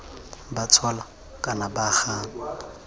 ba tshola kana ba gana